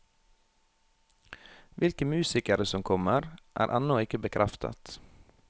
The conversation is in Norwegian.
Hvilke musikere som kommer, er ennå ikke bekreftet.